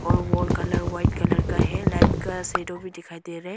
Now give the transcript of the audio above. और wall colour white colour का है लाइट कलर शेडो भी दिखाई दे रहे--